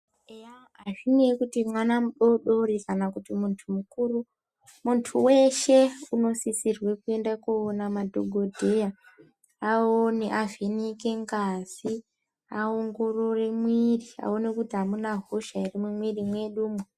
Eya azvineyi kuti mwana mudodori kana kuti muntu mukuru, muntu weshe unosisirwe kuenda kowona madhokodheya, awone avheneke ngazi, awongorere mwiri awone kuti amuna hosha ere mumwiri medumwo.